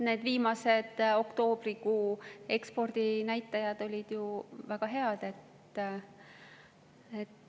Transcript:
Viimased, oktoobrikuu ekspordinäitajad olid ju väga head.